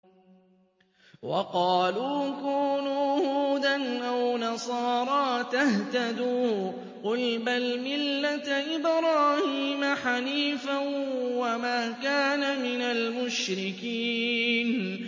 وَقَالُوا كُونُوا هُودًا أَوْ نَصَارَىٰ تَهْتَدُوا ۗ قُلْ بَلْ مِلَّةَ إِبْرَاهِيمَ حَنِيفًا ۖ وَمَا كَانَ مِنَ الْمُشْرِكِينَ